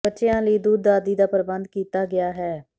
ਬੱਚਿਆਂ ਲਈ ਦੁੱਧ ਆਦਿ ਦਾ ਪ੍ਰਬੰਧ ਕੀਤਾ ਗਿਆ ਹੈ